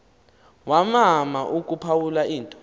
wamana ukuphawula into